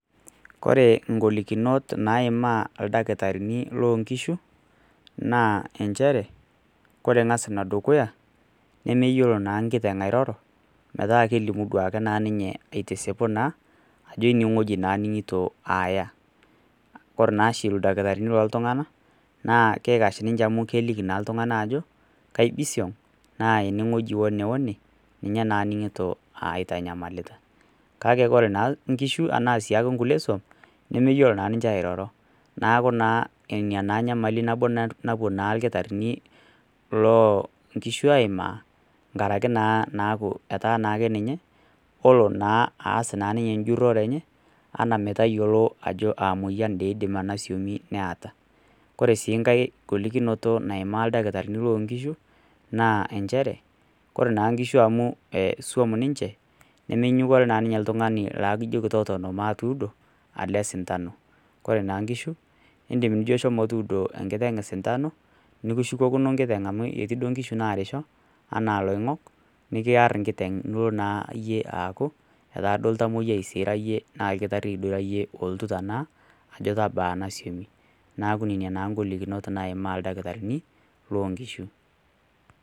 ore igolikinot naimaa ildakitarini loo inkishu naa nchere ore angas enedukuya, nemeyiolo naa nkiteng airoro, meeta kelimu, ajo eneweji naa naya ore naa oshi ildakitarini loo iltunganak, keliki naa ajo eneweji naa aningito wene wene, nemeyiolo naa niche airoro, ilkitarini loo inkishu aimaa inkaraki naa naaku etaa ninye, olo naa ninye aas ajo aa, ore sii inkae golikinoto amaa ildakitarini loo inkishu, naa ichere ore naa inkishu amu suam niche , nemenyanyukie osintano, nikishukokino enkiteng amu ketii inkishu naarisho etaaduo naa oltamoyiai neeku nena igolikinot naaimaa iladakitarini loonkishu.